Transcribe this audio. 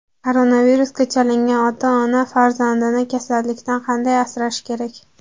Koronavirusga chalingan ota-ona farzandini kasallikdan qanday asrashi kerak?